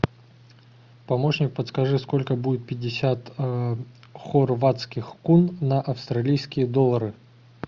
помощник подскажи сколько будет пятьдесят хорватских кун на австралийские доллары